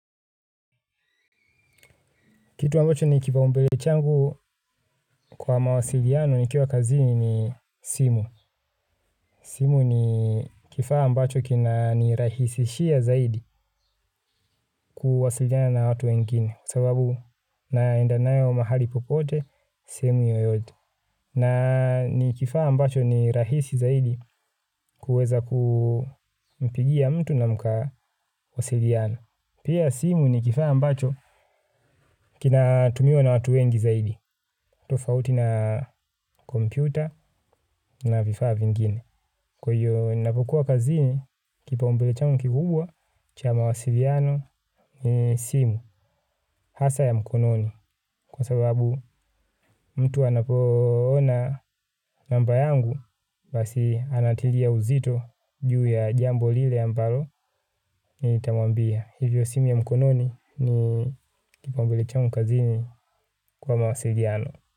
Kitu ambacho ni kipa umbele changu kwa mawasiliano nikiwa kazini simu. Simu ni kifaa ambacho kina nirahisishia zaidi kuwasiliana na watu wengine. Sababu naenda nayo mahali popote, simu yoyote. Na ni kifaa ambacho ni rahisi zaidi kuweza kumpigia mtu na mkawasiliano. Pia simu ni kifaa ambacho kina tumio na watu wengi zaidi. Tufauti na kompyuta na vifaa vingine. Kwa hiyo napokuwa kazini kipa umbele changu kikubwa cha mawasiliano ni simu hasa ya mkononi. Kwa sababu mtu anapo ona namba yangu basi anatilia uzito juu ya jambo lile ambalo ni tamwambia. Hivyo simu ya mkononi ni kipa umbele changu kazini kwa mawasiliano.